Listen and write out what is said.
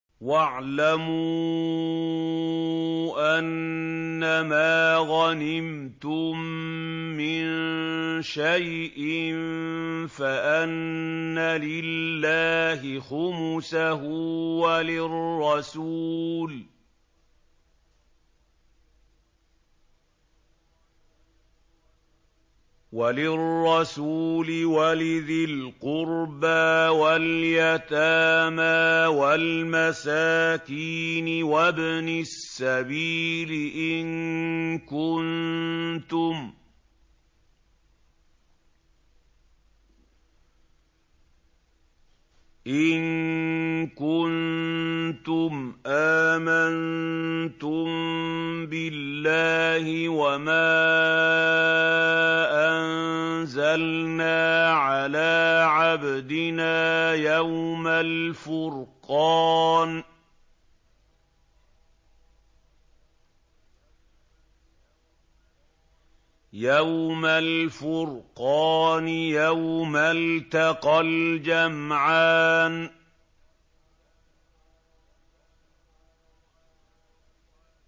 ۞ وَاعْلَمُوا أَنَّمَا غَنِمْتُم مِّن شَيْءٍ فَأَنَّ لِلَّهِ خُمُسَهُ وَلِلرَّسُولِ وَلِذِي الْقُرْبَىٰ وَالْيَتَامَىٰ وَالْمَسَاكِينِ وَابْنِ السَّبِيلِ إِن كُنتُمْ آمَنتُم بِاللَّهِ وَمَا أَنزَلْنَا عَلَىٰ عَبْدِنَا يَوْمَ الْفُرْقَانِ يَوْمَ الْتَقَى الْجَمْعَانِ ۗ